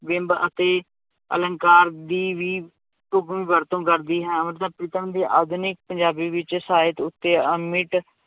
ਬਿੰਬ ਅਤੇ ਅਲੰਕਾਰ ਦੀ ਵੀ ਢੁੱਕਵੀਂ ਵਰਤੋਂ ਕਰਦੀ ਹੈ, ਅੰਮ੍ਰਿਤਾ ਪ੍ਰੀਤਮ ਦੀ ਆਧੁਨਿਕ ਪੰਜਾਬੀ ਵਿੱਚ ਸਾਹਿਤ ਉੱਤੇ ਅਮਿਟ